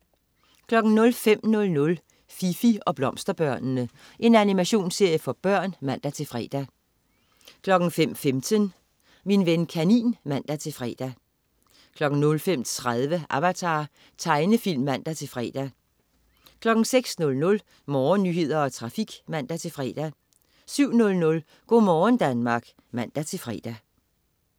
05.00 Fifi og blomsterbørnene. Animationsserie for børn (man-fre) 05.15 Min ven kanin (man-fre) 05.30 Avatar. Tegnefilm (man-fre) 06.00 Morgennyheder og trafik (man-fre) 07.00 Go' morgen Danmark (man-fre)